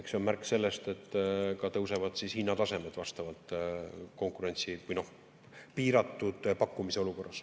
Eks see on märk sellest, et tõusevad ka hinnatasemed vastavalt piiratud pakkumise olukorras.